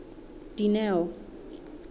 dineo